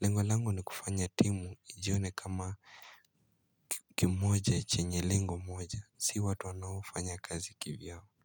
Lengo langu ni kufanya timu ijione kama kimoja chenye lengo moja, si watu wanaofanya kazi kivyao.